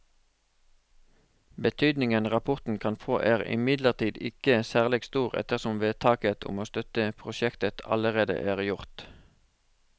Betydningen rapporten kan få er imidlertid ikke særlig stor ettersom vedtaket om å støtte prosjektet allerede er gjort.